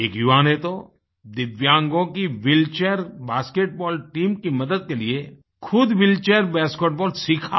एक युवा ने तो दिव्यांगों कीव्हीलचेयर बास्केटबॉल टीम की मदद के लिए खुद व्हीलचेयर बास्केटबॉल सीखा